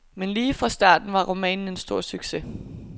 Men lige fra starten var romanen en stor succes.